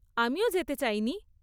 আমিও যেতে চাইনি।